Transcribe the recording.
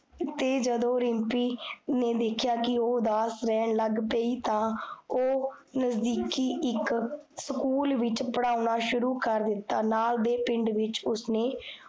ਤੇ ਜਦੋਂ ਰਿਮ੍ਪੀ, ਨੇ ਦੇਖਿਆ ਕੀ, ਓਹ ਉਦਾਸ ਰਹਨ ਲਗ ਪੀ, ਤਾਂ ਓਹ ਨਜਦੀਕੀ ਇਕ, ਸਕੂਲ ਵਿਚ ਪੜਾਉਣਾ ਸ਼ੁਰੂ ਕਰਦਿੱਤਾ ਨਾਲ ਦੇ ਪਿੰਡ ਵਿਚ, ਉਸਨੇ